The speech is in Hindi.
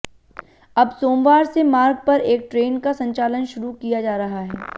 अब सोमवार से मार्ग पर एक ट्रेन का संचालन शुरू किया जा रहा है